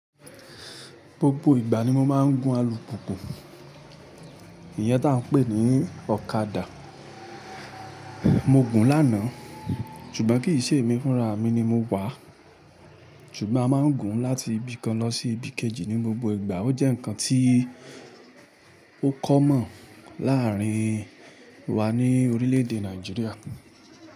Gbogbo ìgbà ni mo máa ń gun alùpùpù. Ìyẹn tá ń pè ní ọ̀kadà. Mo gun lánàá, ṣùgbọ́n kì í ṣe èmi fúnra, mi ni mo wà. Ṣùgbọ́n a máa ń gun láti ibi kan lọ sí ibi kejì ní gbogbo ìgbà. Ó jẹ́ nǹkan tí ó common láàárín wa ní orílẹ̀-èdè Nàìjíríà.